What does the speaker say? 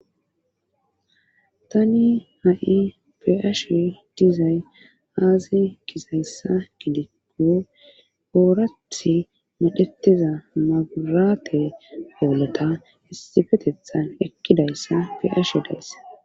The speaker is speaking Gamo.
tani ha7i be'ash dizay aasi kizayssa gidikko oorath madhetiza magurate pooleta istifetethan ekkidayssa piash deesse